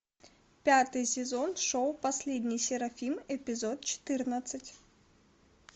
пятый сезон шоу последний серафим эпизод четырнадцать